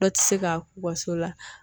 Dɔ ti se ka k'u ka so la.